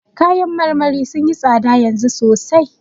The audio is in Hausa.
Kayan marmarin sun yi tsada yanzu sosai.